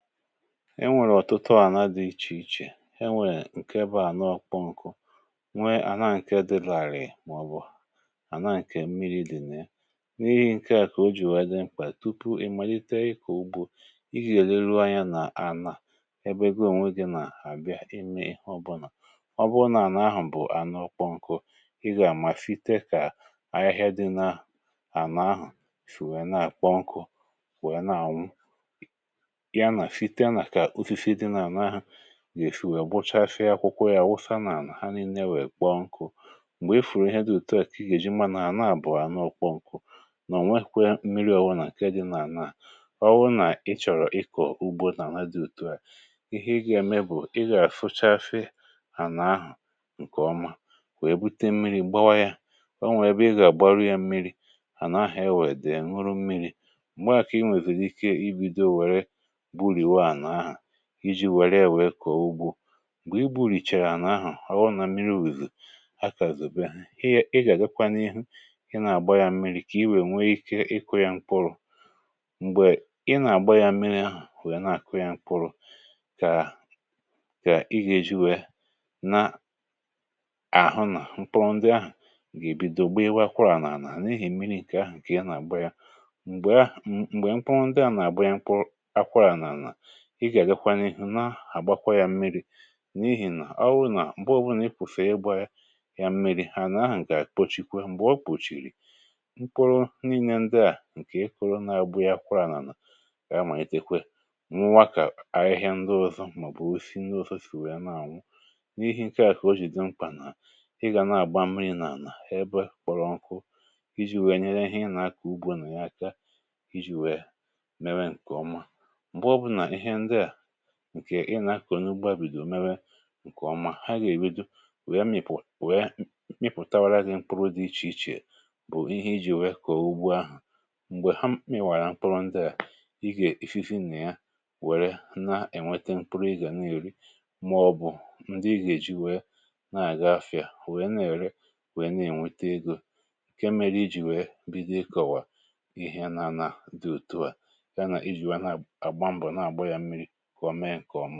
enwèrè ọ̀tụtụ ànà dị ichè ichè, enwèrè ǹkè bàá ànà ọkpọ nkụ, nwe ànà ànà ǹkè dị làrị̀, màọbụ̀ ànà ǹkè mmiri̇ dị̀ n’ẹ, n’ihì̇ ǹkè à kà o jì wèe dị mkpà. tupu ị malite ịkọ̀ ugbȯ, ị gà-èlerụ anya nà ànà ebe ego ònwe gị nà-àbịa, ịmị ịhọ̇bụ̇nà ọbụ̀nàà nà ahụ̀ bụ̀ ànà ọkpọ nkụ. ị gà-àmàfite kà ahịhịa dị n’ànà ahụ̀ fì, wèe nà àkpọ nkụ, wèe nà ànwụ̀ gà-èfì, wèe gbuchafie akwụkwọ yà, wufà n’ànà ha nìilė, wèe gbàọ nkụ. m̀gbè e fùrù ihe dị ùtùà, kà ị gà-èjì, mà ànà àbụ̀ọ̀ ànà ọkpọkwụ nọ̀ nwèkwè mmiri̇. ọwụ̀ nà ǹkè dị n’ànà à, ọwụ̀ nà ịchọ̀rọ̀ ịkọ̀ ugbȯ n’ànà dị ùtùà, ihe ị gà-ème bụ̀, ị gà-àfụcha àfìe hà na-àhụ̀ ǹkè ọma, wèe bute mmiri̇ gbawa yà. ọ nwèrè, ị gà-àgbàrù yà mmiri̇ hà n’ahụ̀, èwèe dì mụrụ̀ mmiri̇. m̀gbè àkà i nwèbìrì ikè, ibìdò wèrè iji̇ wàrì yȧ, nwèe kọ̀ọ ugbò. m̀gbè i bùrìchàrà n’ahụ̀ ọrụ̇ nà mmiri̇, wèzù akàzùbè, ị gà-àgakwanụ ihu, i nà-àgbà yȧ mmiri̇, kà i nwèe nwee ikè ịkụ̇ yȧ mkpụrụ̇. m̀gbè ị nà-àgbà yȧ mmiri̇ ahụ̀, wèe na-àkụ yȧ mkpụrụ̇, kà i gà-èjì wèrè n’àhụ̀ nà mkpụrụ ndị ahụ̀ gà-èbido gbèawa kwụrụ̇ n’àlà. ehi̇, mmiri̇ ǹkè ahụ̀ kà yà nà-àgbà yȧ. m̀gbè à, ǹkwè mkpụrụ ndị à nà-àgbà yà, mkpụrụ ị gà-àgakwanụ ihu̇, na-àgbàkwa yȧ mmiri̇, n’ihì nà ọ wụ̀ nà m̀gbè ọ̀bụ̀nà ị kwụ̀fèe ịgbà yà yà mmiri̇, hà na-àhụ̀, gà kpochikwe. m̀gbè o kpòchìrì, mkpòrò nènne ndị à ǹkè e kọ̀rọ̀, nà-àgbù yà, kwa anànà yà, mà ètèkwè m̀wụ̀wà, kà ahịhịa ndị ọzọ̀, mà ọ̀ bụ̀ si ndị ọzọ̀ sì wèe na-àṅụ̀. n’ihì ǹkè à, kà o jì dì mkpà nà ị gà na-àgbà mmiri̇ n’ànà ebe kpọrọ nkụ̇, iji̇ wèe nyèrè ihe ị nà-akọ̀ ugbȯ nà yà aka, iji̇ wèe mèrè ǹkè ọma. ǹkè ị nà-akọ̀nụ, gbàbìdò òmèwè ǹkè ọma, hà gà-èbido wèe mịpụ̀tawa gị mkpụrụ dị ichè ichè, bụ̀ ihe ijì kọ̀ọ̀ ugbò ahụ̀. m̀gbè hà mịwàrà mkpụrụ ndị à, i gà-èfizì nà yà, wèrè na-ènwètè mkpụrụ, i gà na-èri, màọ̀bụ̀ ndị i gà-èjì wèe na-àga market, wèe na-èri, wèe na-ènwètè egò. ǹkè mèrè, iji̇ wèe bìdò kọ̀wà ihe nà ànà dị ùtùà, ihe ọ mụ̇ èkpòmàmìksià ànà, wèe dàkwà ihe dị èkpòmàmìksià, ànà, wèe dàkwà ihe dị èkpòmàmìksià.